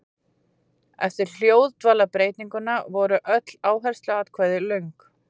Eftir hljóðdvalarbreytinguna voru öll áhersluatkvæði löng.